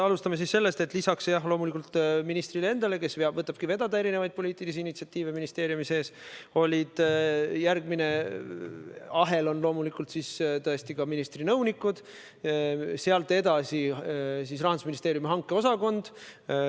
Alustame sellest, et lisaks ministrile endale, kes võtabki vedada erinevaid poliitilisi initsiatiive ministeeriumi sees, moodustavad järgmise ahela tõesti ministri nõunikud ja sealt edasi Rahandusministeeriumi hankeosakond.